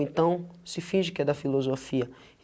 Então, se finge que é da filosofia.